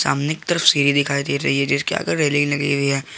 की तरफ सीढ़ी दिखाई दे रही है जिसके आगे रेलिंग लगी हुई है।